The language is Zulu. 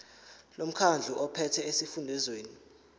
lomkhandlu ophethe esifundazweni